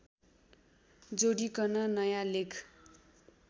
जोडिकन नयाँ लेख